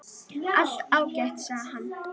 Allt ágætt, sagði hann.